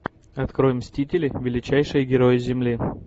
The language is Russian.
открой мстители величайшие герои земли